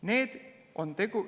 Need on ...